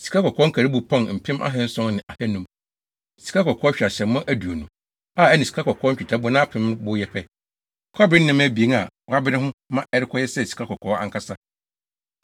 sikakɔkɔɔ hweaseammɔ aduonu a ɛne sikakɔkɔɔ nnwetɛbona apem bo yɛ pɛ, kɔbere nneɛma abien a wɔabere ho ma ɛrekɔyɛ sɛ sikakɔkɔɔ ankasa.